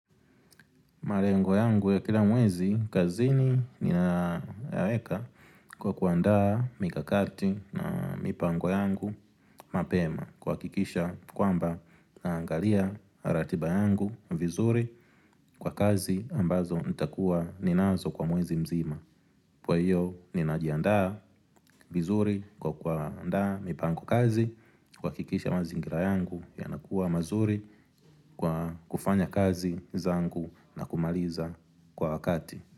Malengo yangu ya kila mwezi kazini ninayaweka kwa kuandaa mikakati na mipango yangu mapema kuhakikisha kwamba naangalia ratiba yangu vizuri kwa kazi ambazo nitakuwa ninazo kwa mwezi mzima kwa hiyo ninajiandaa vizuri kwa kuandaa mipango kazi kuhakikisha mazingira yangu yanakuwa mazuri kwa kufanya kazi zangu na kumaliza kwa wakati.